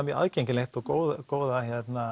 mjög aðgengilegt og góða góða